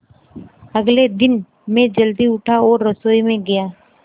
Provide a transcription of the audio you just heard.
अगले दिन मैं जल्दी उठा और रसोई में गया